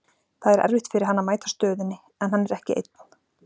Það er erfitt fyrir hann að mæta stöðunni, en hann er ekki einn.